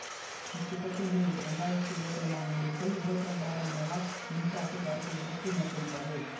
இத்திட்டத்தின் கீழ் இரண்டு ஆயிரத்தி இருபத்தி இரண்டாம் ஆண்டிற்குள் இருபத்தி இரண்டு ஆயிரம் மெவா மின்சாரத்தை தயாரிக்க இலக்கு மேற்கொண்டுள்ளது